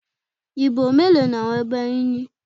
Ìbò mélòó ni àwọn ẹgbẹ́ yín ní?